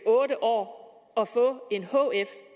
otte år at få en hf